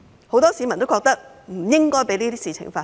很多市民都認為不應該讓這些事情發生。